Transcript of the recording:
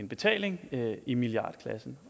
betaling i milliardklassen